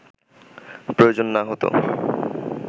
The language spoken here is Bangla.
প্রয়োজন না হত